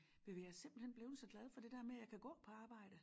Ved du hvad jeg er simpelthen blevet så glad for det dér med jeg kan gå på arbejde